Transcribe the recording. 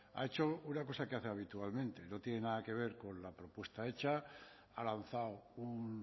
ha hecho una cosa que hace habitualmente no tiene nada que ver con la propuesta hecha ha lanzado un